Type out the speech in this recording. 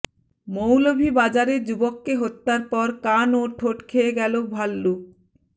মৌলভীবাজারে যুবককে হত্যার পর কান ও ঠোঁট খেয়ে গেল ভাল্লুক